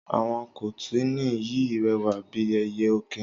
Àwon kọtìní yìí rẹwà bi ẹyẹ ọkìn